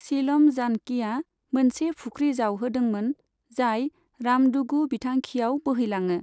सीलम जानकीआ मोनसे फुख्रि जावहोदोंमोन जाय रामडुगु बिथांखियाव बोहैलाङो।